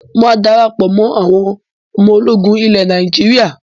Máa dára pọ̀ mọ́ àwọn ọmọ ológun ilẹ̀ Nàíjírà.